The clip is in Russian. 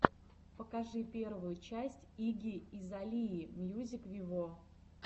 покажи первую часть игги азалии мьюзик виво